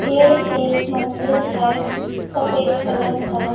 ये एक मंदिर है सफेद कलर का।